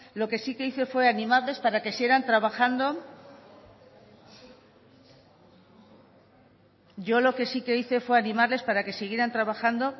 lo que sí que hice fue animarles para que sigan trabajando yo lo que sí que hice fue animarles para que siguieran trabajando